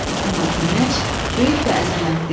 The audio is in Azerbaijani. Amma günəş böyük və əzəmətli idi.